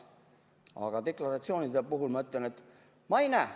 Aga deklaratsioonide kohta ma ütlen, et ma ei näe ...